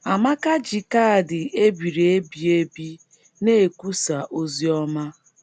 Amaka ji kaadị e biri ebi ebi na - ekwusa ozi ọma